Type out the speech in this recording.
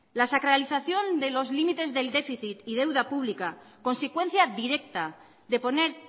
la sacralización de los límites del déficit y deuda pública consecuencia directa de poner